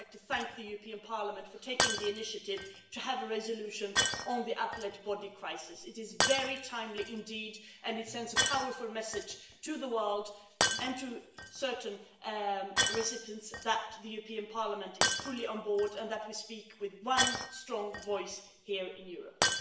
I would like to thank the European Parliament for taking the initiative to have a resolution on the Appellate Body crisis. It is very timely indeed, and it sends a powerful message to the world and to certain recipients, that the European Parliament is fully on board and that we speak with one strong voice here in Europe.